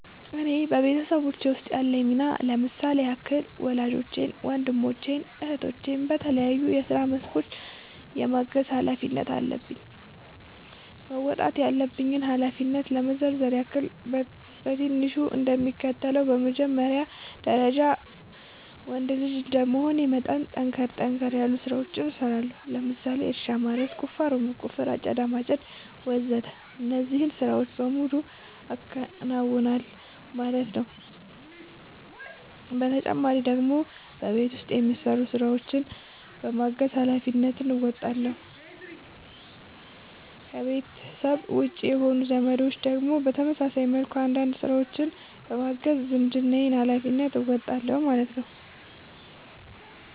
እኔ በቤተሰቦቼ ውስጥ ያለኝ ሚና ለምሳሌ ያክል ወላጆቼን ወንድሞቼን እህቶቼን በተለያዩ የስራ መስኮች የማገዝ ኃላፊነት አለብኝ። መወጣት ያለብኝን ኃላፊነት ለመዘርዘር ያክል በትንሹ እንደሚከተለው ነው በመጀመሪያ ደረጃ ወንድ ልጅ እንደመሆኔ መጠን ጠንከር ጠንከር ያሉ ስራዎችን እሰራለሁ ለምሳሌ እርሻ ማረስ፣ ቁፋሮ መቆፈር፣ አጨዳ ማጨድ ወዘተ እነዚህን ስራዎች በሙሉ አከናውናል ማለት ነው ተጨማሪ ደግሞ በቤት ውስጥ የሚሰሩ ስራዎችን በማገዝ ሃላፊነትን እንወጣለሁ። ከቤተሰቤ ውጪ የሆኑት ዘመዶቼን ደግሞ በተመሳሳይ መልኩ አንዳንድ ስራዎችን በማገዝ የዝምድናዬን ሀላፊነት እወጣለሁ ማለት ነው